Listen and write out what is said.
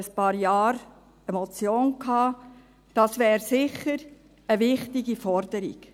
Ich habe dazu vor ein paar Jahren eine Motion eingereicht.